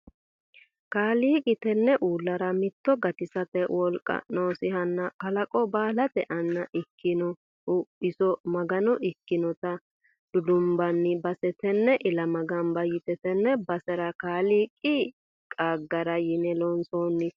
Kaaliiqi tene uullara mitto gatisate wolqa noosihanna kalaqo baallate anna ikkinohu iso Magano ikkinotta dudumbanni base tene ilama gamba yite tene basera kaaliiqi qaagara yine loonsonite.